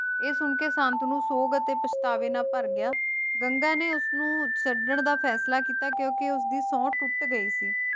ਇਹ ਸੁਣਕੇ ਸ਼ਾਂਤਨੂ ਸੋਗ ਅਤੇ ਪਛਤਾਵੇ ਨਾਲ ਭਰ ਗਿਆ ਗੰਗਾ ਨੇ ਉਸਨੂੰ ਛੱਡਣ ਦਾ ਫੈਸਲਾ ਕੀਤਾ ਕਿਉਂਕਿ ਉਸਦੀ ਸੌਂਹ ਟੁੱਟ ਗਈ ਸੀ,